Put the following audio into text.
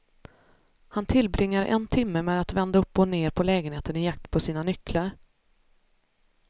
Han tillbringar en timme med att vända upp och ned på lägenheten i jakt på sina nycklar.